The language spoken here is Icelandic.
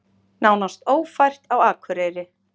Nánast ófært á Akureyri